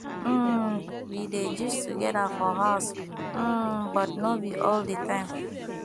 um we dey gist together for house um but no be all di time